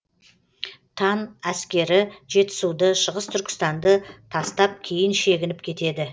тан әскері жетісуды шығыс түркістанды тастап кейін шегініп кетеді